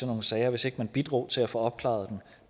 nogle sager hvis ikke man bidrog til at få opklaret dem